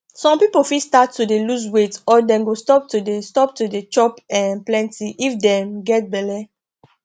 some people fit start to de lose weight or dem go stop to de stop to de chop um plenty if dem get belle